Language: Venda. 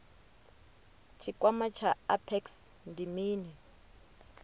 tshikwama tsha apex ndi mini